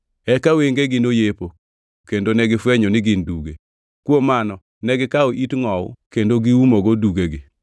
Eka wengegi noyepo kendo negifwenyo ni gin duge; kuom mano negikawo it ngʼowu kendo giumogo dugegi.